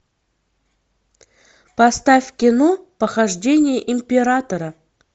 поставь кино похождения императора